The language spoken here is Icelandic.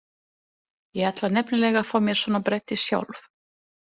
Ég ætla nefnilega að fá mér svona bretti sjálf.